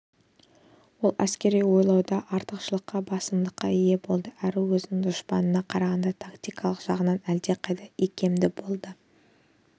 ол әскери ойлауда артықшылыққа басымдылыққа ие болды әрі өзінің дұшпанына қарағанда тактикалық жағынан әлдеқайда икемді болды